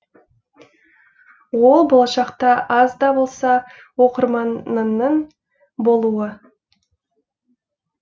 ол болашақта аз да болса оқырманыңның болуы